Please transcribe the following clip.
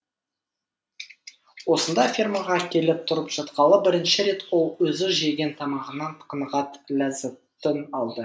осында фермаға келіп тұрып жатқалы бірінші рет ол өзі жеген тамағынан қанағат ләззатын алды